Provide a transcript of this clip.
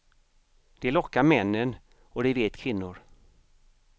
Det lockar männen och det vet kvinnor.